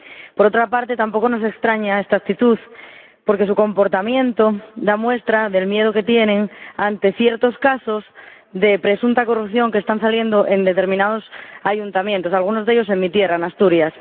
Por otra parte, tampoco nos extraña esta actitud, porque su comportamiento muestra el miedo que tienen ante ciertos casos de presunta corrupción que están saliendo en determinados ayuntamientos, algunos de ellos en mi tierra, en Asturias.